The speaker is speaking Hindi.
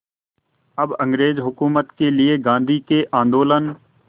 अब अंग्रेज़ हुकूमत के लिए गांधी के आंदोलन